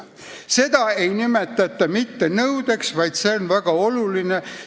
Seda ei nimetata mitte nõudeks, vaid – see on väga oluline!